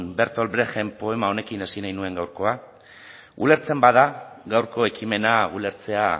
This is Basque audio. bertol brecht en poema honekin hasi nahi nuen gaurkoa ulertzen bada gaurko ekimena ulertzea